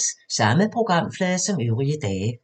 Samme programflade som øvrige dage